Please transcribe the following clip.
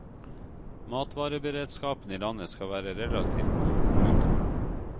Matvareberedskapen i landet skal være relativt god. punktum